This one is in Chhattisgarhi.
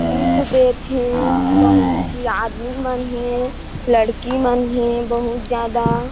गिफ़्ट दे थे बहुत झी आदमी मन हे लड़की मन हे बहुत --